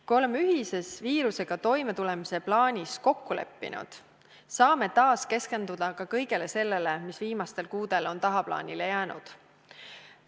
Kui oleme ühises viirusega toimetulemise plaanis kokku leppinud, saame taas keskenduda ka kõigele sellele, mis viimastel kuudel on tagaplaanile jäänud.